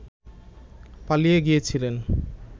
পালিয়ে গিয়েছিলেন